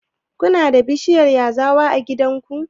Kuna da bishiyar yazawa a gidanku?